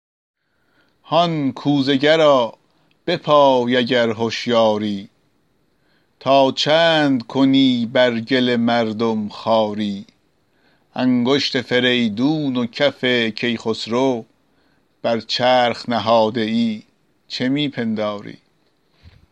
هان کوزه گرا بپای اگر هشیاری تا چند کنی بر گل مردم خواری انگشت فریدون و کف کی خسرو بر چرخ نهاده ای چه می پنداری